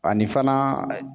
Ani fana